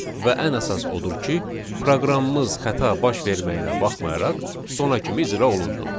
Və ən əsas odur ki, proqramımız xəta baş verməyinə baxmayaraq sona kimi icra olundu.